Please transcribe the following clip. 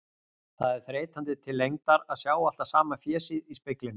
Það er þreytandi til lengdar að sjá alltaf sama fésið í speglinum.